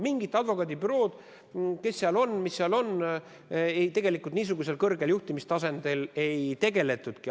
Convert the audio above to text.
Mingid advokaadibürood, kes seal on, mis seal on – tegelikult niisugusel kõrgel juhtimistasandil sellega ei tegeletudki.